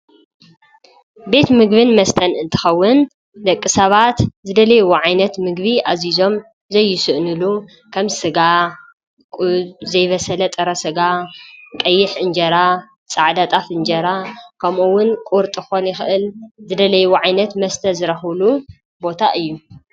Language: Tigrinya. ቤት ምግብን መስተን እንትኸውን ደቂ ሰባት ዝደለይ ወዓይነት ምግቢ ኣዚዞም ዘይስእንሉ ከም ሥጋ ዘይበሰለ ጥረሥጋ ቀይሕ እንጀራ ፃዕዳጣፍ እንጀራ ከምኡውን ቁርጥ ኾኑ ይኽእል ዝደለይ ወዓይነት መስተ ዝረኽሉ ቦታ እዩ።